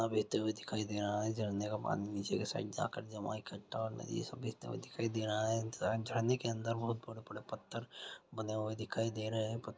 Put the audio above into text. झरना बहते हुए दिखाई दे रहा हैं झरना के पानी नीचे के साइड जाकर जमा इकठ्ठा हुआ बहता हुआ दिखाई दे रहा है ज झड़ने के अंदर बहुत बड़ा बड़ा पत्थर बंधे हुए दिखाई दे रहे हैं प--